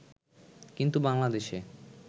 কিন্তু বাংলাদেশে